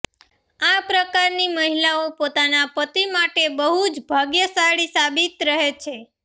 આ પ્રકારની મહિલાઓ પોતાના પતિ માટે બહુ જ ભાગ્યશાળી સાબિત રહે છે